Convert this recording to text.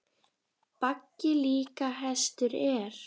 Baggi líka hestur er.